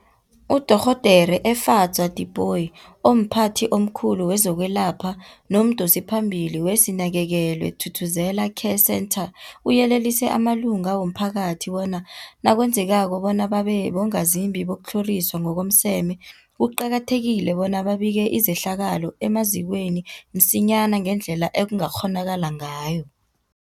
UDorhodere Efadzwa Tipoy, omphathi omkhulu kezokwelapha nomdosiphambili weSinakekelwe Thuthuzela Care Centre, uyelelise amalunga womphakathi bona nakwenzekako bona babe bongazimbi bokutlhoriswa ngokomseme, kuqakathekile bona babike izehlakalo emazikweni msinyana ngendlela ekungakghonakala ngayo.